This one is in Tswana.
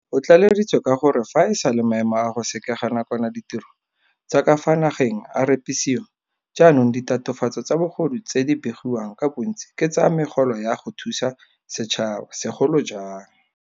O tlaleleditse ka gore fa e sale maemo a go sekega nakwana ditiro tsa ka fa nageng a repisiwa, jaanong ditatofatso tsa bogodu tse di begiwang ka bontsi ke tsa megolo ya go thusa setšhaba, segolo jang.